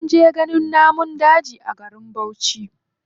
Sun je ganin namun daji a garin bauchi.